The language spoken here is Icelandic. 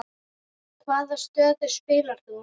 Hvaða stöðu spilaðir þú?